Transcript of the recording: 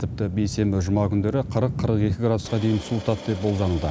тіпті бейсенбі жұма күндері қырық қырық екі градусқа дейін суытады деп болжануда